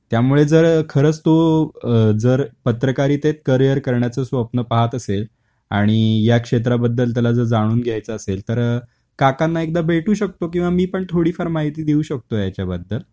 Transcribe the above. त्यामुळे जर खरंच तो अ जर पत्रकारितेत करिअर करण्याच स्वप्न पाहत असेल आणि या क्षेत्राबद्दल त्याला जर जाणून घ्यायचा असेल, तर काकांना एकदा भेटू शकतो किंवा मी पण थोडीफार माहिती देऊ शकतो ह्याच्या बद्दल.